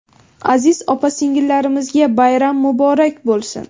aziz opa-singillarimizga bayram muborak bo‘lsin!.